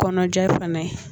Kɔnɔjɛ fana